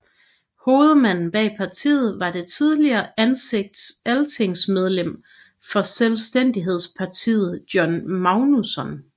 Hovedmanden bag partiet var det tidligere altingsmedlem for Selvstændighedspartiet Jón Magnússon